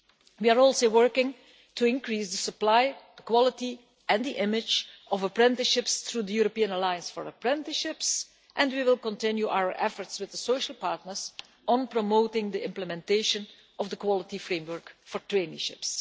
We are also working to increase the supply, quality and image of apprenticeships through the European Alliance for Apprenticeships, and we will continue our efforts with the social partners on promoting the implementation of the quality framework for traineeships.